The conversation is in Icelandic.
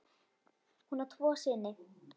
Hún á tvo syni.